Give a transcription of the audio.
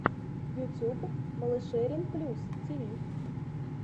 ютюб малышерин плюс тиви